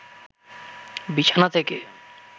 বিছানা থেকে